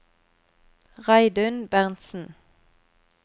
Reidun Berntsen